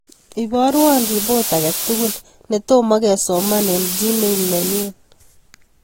Iborwon ripot age tugul netomo kesoman en gmail nenyuet